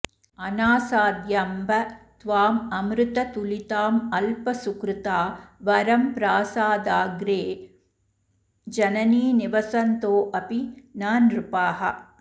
अनासाद्याम्ब त्वाममृततुलितामल्पसुकृता वरं प्रासादाग्रे जननि निवसन्तोऽपि न नृपाः